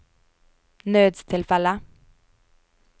nødstilfelle